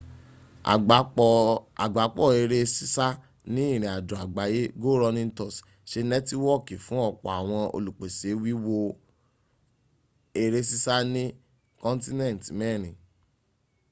agbapo ere sisa ni irinajo agbaye go running tours se netiwooki fun opo awon olupese wiwo era sisa ni continent merin